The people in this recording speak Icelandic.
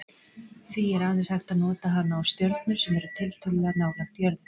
Því er aðeins hægt að nota hana á stjörnur sem eru tiltölulega nálægt jörðu.